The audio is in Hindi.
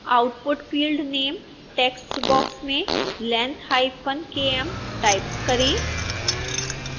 output field name text box में lengthkm टाइप करें